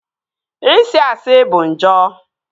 Isi asị bụ njọ